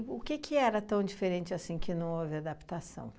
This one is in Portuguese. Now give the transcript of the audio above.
o que que era tão diferente assim, que não houve adaptação?